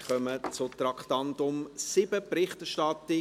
Wir kommen zum Traktandum 7, «Berichterstattung